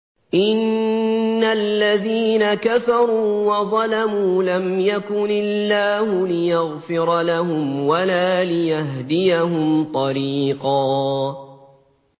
إِنَّ الَّذِينَ كَفَرُوا وَظَلَمُوا لَمْ يَكُنِ اللَّهُ لِيَغْفِرَ لَهُمْ وَلَا لِيَهْدِيَهُمْ طَرِيقًا